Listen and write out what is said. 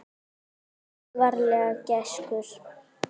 Farðu varlega gæskur.